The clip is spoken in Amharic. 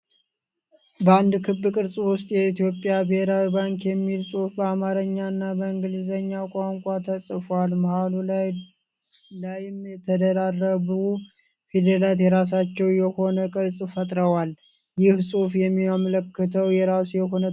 በአንድ ክብ ቅርጽ ዉስጥ የኢትዮጵያ ብሄራዊ ባንክ የሚል ጽሁፍ በአማረኛ እና በእንግሊዘኛ ቋንቋ ተጽፏል፤ መሃሉ ላይም የተደራረቡ ፊደላት የራሳቸው የሆነ ቅርጽ ፈጥረዋል። ይህ ጽሁፍ የሚያመላክተው የራሱ የሆነ ትርጉም አለ?